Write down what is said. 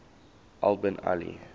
al bin ali